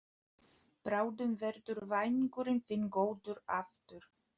Bráðum verður vængurinn þinn góður aftur.